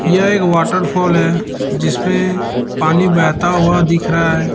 यह एक वाटरफॉल है जिसमें पानी बहता हुआ दिख रहा है।